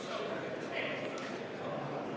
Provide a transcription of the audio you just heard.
Muudatusettepanek ei leidnud toetust.